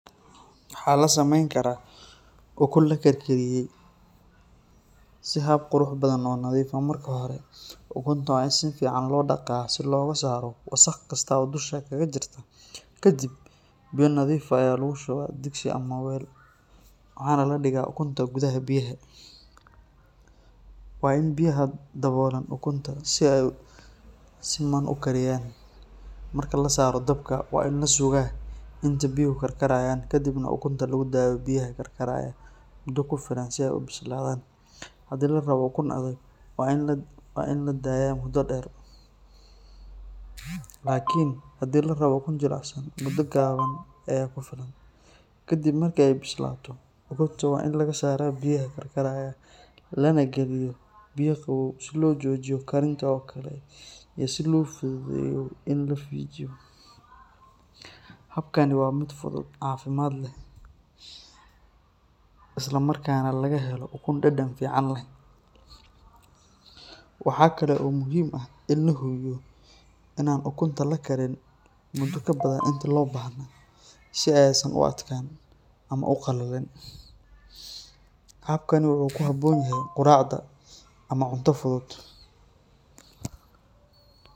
Waxaa lasameyni karaa ukun laka kariye si hab qurux badan oo marki hore ukunta waa in si fican lodaqa si wasaq kasta oo dusha gakajirto, kadiib weel nadhiif ah aya lagu shuba kadiib ama digsi waxana ladiga ukunta gudhaha biyaha waa in biyaha dawolan si siman u kariyan, marki lasaro dabka waa in lasuga biyaha intee ka kar karanyan kadiib ukunta lagu dadhiyo biyaha kar karayan mudo kufilan si ee u bislathan hadii ladoho ukun adhag waa in ladaya muda der lakin hadii larawo muda gawan aya kufilan kadiib markee bislato ukunta waa in laga sara biyaha kar karayan lana galiyo biyo qawo lona jojiyo karinta ukunta, habkani waa miid fudhuud cafimaad leh, isla markas nah laga helo ukun dadan leh, waxaa kalo muhiim ah in ladawolo in ukunta lakarinin inta lo bahna ama u qalalen, habka u ku habon yahay quracda.